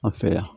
An fɛ yan